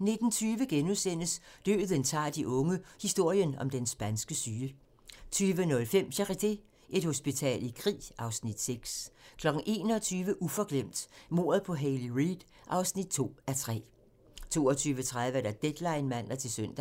19:20: Døden tager de unge - historien om den spanske syge * 20:05: Charité - Et hospital i krig (Afs. 6) 21:00: Uforglemt: Mordet på Hayley Reid (2:3) 22:30: Deadline (man-søn)